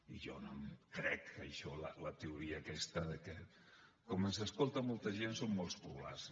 i jo no em crec això la teoria aquesta que com que ens escolta molta gent som molt plurals